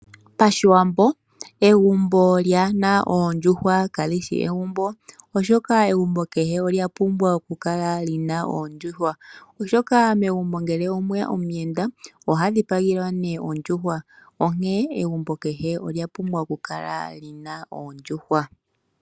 Pashiwambo egumbo lyaahe na oondjuuhwa kali shi egumbo, oshoka egumbo kehe olya pumbwa okukala li na oondjuhwa. Megumbo ngele omwe ya omuyenda oha dhipagelwa ondjuhwa. Onkene egumbo kehe olya pumbwa okukala li na oondjuhwa.